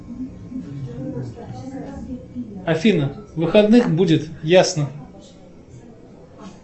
афина в выходных будет ясно